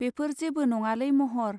बेफोर जेबो नङालै महर.